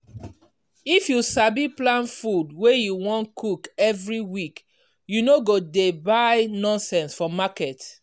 if you sabi plan food wey you wan cook every week you no go dey buy nonsense for market.